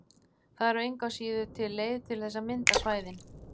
Það er engu að síður til leið til þess að mynda svæðin.